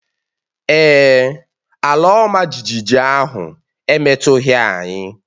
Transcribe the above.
Èè, ala ọma jijiji ahụ emetụtaghị anyị